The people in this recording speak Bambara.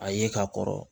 A ye ka kɔrɔ